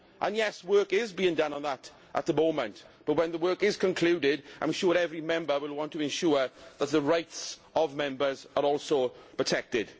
Yes, work is being done on that at the moment, but when the work is concluded, I am sure that every Member will want to ensure that the rights of Members are also protected.